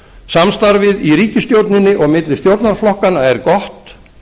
samstarfið í ríkisstjórninni og milli stjórnarflokkanna er gott